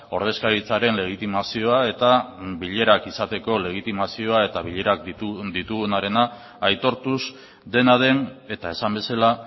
ordezkaritzaren legitimazioa eta bilerak egiteko legitimazioa eta bilerak ditugunarena aitortuz dena den eta esan bezala